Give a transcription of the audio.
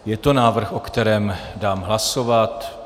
Je to návrh, o kterém dám hlasovat.